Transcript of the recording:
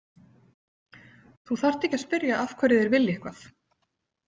Þú þarft ekki að spyrja af hverju þeir vilja eitthvað.